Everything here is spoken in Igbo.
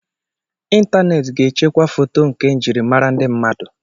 Ịntaneti ga echekwa foto nkà njirimara ndị mmadụ.